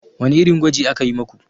Wani irin gwaji aka yi maku?